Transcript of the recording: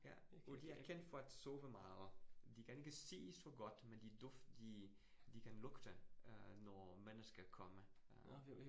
Ja, og de er kendt for at sove meget. De kan ikke se så godt, men de de de kan lugte øh når mennesker kommer øh